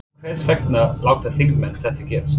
Hvers vegna láta þingmenn þetta gerast?